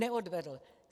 Neodvedl.